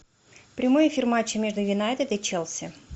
прямой эфир матча между юнайтед и челси